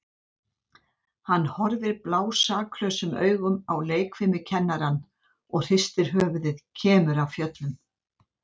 Hann horfir blásaklausum augum á leikfimikennarann og hristir höfuðið, kemur af fjöllum.